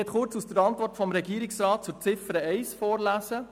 Ich möchte kurz aus der Antwort des Regierungsrats zu Ziffer 1 vorlesen: